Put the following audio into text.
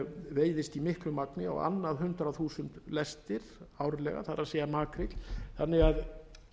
veiðist í miklu magni á annað hundrað þúsund lestir árlega það er makríll þannig að